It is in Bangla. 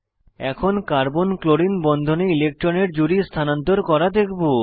এখন কার্বন ক্লোরিন বন্ধনে ইলেক্ট্রনের জুড়ি স্থানান্তর করা দেখব